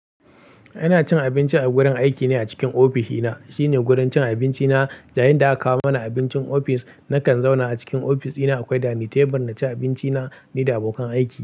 Ina cin abinci a wurin aiki ne a cikin ofisina. Shi ne wurin cin abinci na, yayin da aka kawo mana abincin ofis nakan zauna a cikin ofisina. Akwai dinining table na ci abinci na ni da abokan aiki.